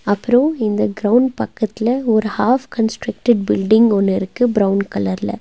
அப்றோ இந்த கிரவுண்ட் பக்கத்துல ஒரு ஹாஃப் கன்ஸ்ட்ரக்ட்டெட் பில்டிங் ஒன்னு இருக்கு பிரவுன் கலர்ல .